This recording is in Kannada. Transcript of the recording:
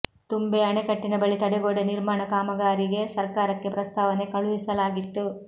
ತುಂಬೆ ಅಣೆಕಟ್ಟಿನ ಬಳಿ ತಡೆಗೋಡೆ ನಿರ್ಮಾಣ ಕಾಮಗಾರಿಗೆ ಸರ್ಕಾರಕ್ಕೆ ಪ್ರಸ್ತಾವನೆ ಕಳುಹಿಸಲಾಗಿತ್ತು